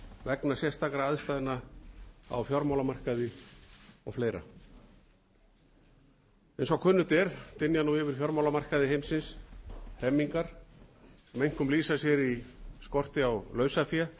vegna sérstakra aðstæðna á fjármálamarkaði og fleira eins og kunnugt er dynja nú yfir fjármálamarkaði heimsins hremmingar sem einkum lýsa sér í skorti á lausafé